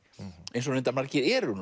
eins og reyndar margir eru